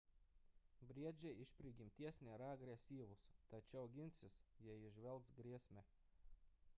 briedžiai iš prigimties nėra agresyvūs tačiau ginsis jei įžvelgs grėsmę